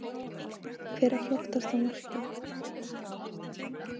Hver á flottasta markið?